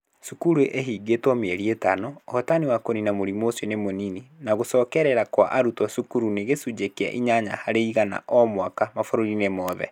Cukuru ihingĩtwo mĩeri ĩtano, ũhotani wa kũniina mũrimũ ũcio nĩ mũnini, na gũcokerera kwa arutwo cukuru nĩ gĩcunjĩ kĩa inyanya harĩ iganao mwaka mabũrũri-inĩ mothe.